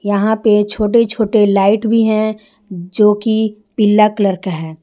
यहां पर छोटे छोटे लाइट भी है जो कि पीला कलर का है।